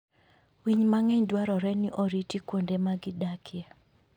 Winy mang'eny dwarore ni oriti kuonde ma gidakie.